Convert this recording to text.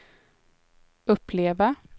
uppleva